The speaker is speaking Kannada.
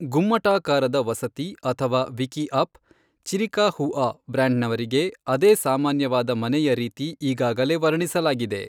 ಗುಮ್ಮಟಾಕಾರದ ವಸತಿ ಅಥವಾ ವಿಕಿಅಪ್, ಚಿರಿಕಹುಆ ಬ್ಯಾಂಡ್ನವರಿಗೆ ಅದೇ ಸಾಮಾನ್ಯವಾದ ಮನೆಯ ರೀತಿ ಈಗಾಗಲೆ ವರ್ಣಿಸಲಾಗಿದೆ.